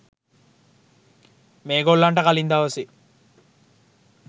මේ ගොල්ලන්ට කලින් දවසේ